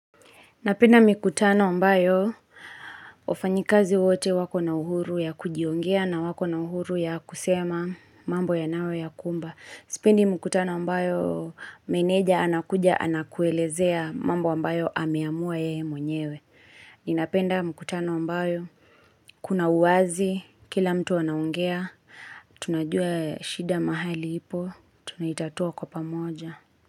Ninapenda mikutano ambayo wafanyakazi wote wako na uhuru ya kujiongea na wako na uhuru ya kusema mambo yanawe yakumba. Sipendi mkutano ambayo meneja anakuja anakuelezea mambo ambayo ameamua yeye mwenyewe. Ninapenda mkutano ambayo kuna uwazi kila mtu anaongea. Tunajua shida mahali ipo. Tunaitatua kwa pamoja.